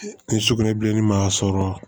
Ni sugunɛbilenni ma sɔrɔ